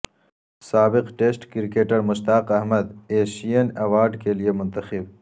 سابق test cricketer Mushtaq Ahmed Asian award کے لیے منتخب